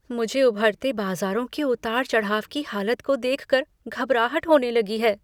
मुझे उभरते बाजारों के उतार चढ़ाव की हालत को देख कर घबराहट होने लगी है।